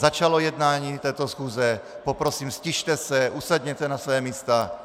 Začalo jednání této schůze, poprosím, ztište se, usedněte na svá místa.